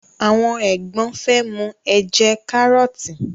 awọn egbon fe mu ẹjẹ karọọti